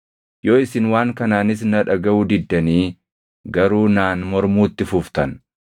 “ ‘Yoo isin waan kanaanis na dhagaʼuu diddanii garuu naan mormuutti fuftan,